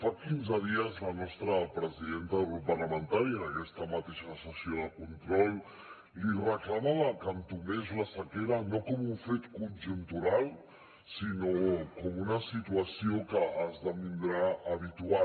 fa quinze dies la nostra presidenta del grup parlamentari en aquesta mateixa sessió de control li reclamava que entomés la sequera no com un fet conjuntural sinó com una situació que esdevindrà habitual